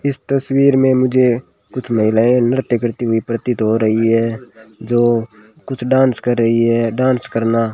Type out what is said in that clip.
इस तस्वीर में मुझे कुछ महिलाएं नृत्य करती हुई प्रतीत हो रही है जो कुछ डांस कर रही हैं डांस करना --